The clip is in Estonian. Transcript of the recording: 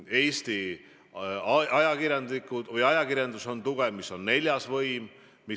Eesti ajakirjandus, mis on neljas võim, on tugev.